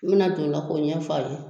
I bina don ola k'o ɲɛ f'a ye